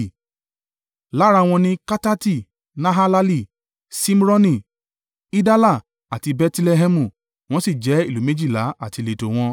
Lára wọn ni Katati, Nahalali, Ṣimroni, Idala àti Bẹtilẹhẹmu. Wọ́n sì jẹ́ ìlú méjìlá àti ìletò wọn.